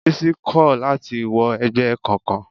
Bísí kò láti wọ ẹgbẹ́ kankan.